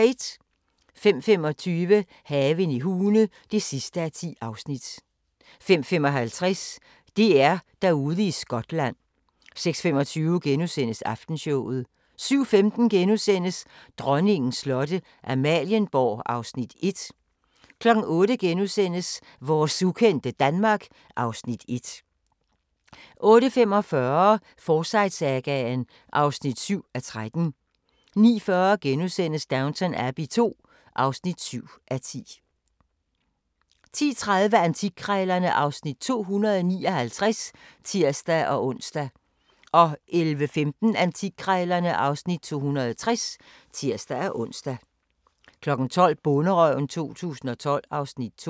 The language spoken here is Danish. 05:25: Haven i Hune (10:10) 05:55: DR-Derude i Skotland 06:25: Aftenshowet * 07:15: Dronningens slotte – Amalienborg (Afs. 1)* 08:00: Vores ukendte Danmark (Afs. 1)* 08:45: Forsyte-sagaen (7:13) 09:40: Downton Abbey II (7:10)* 10:30: Antikkrejlerne (Afs. 259)(tir-ons) 11:15: Antikkrejlerne (Afs. 260)(tir-ons) 12:00: Bonderøven 2012 (Afs. 2)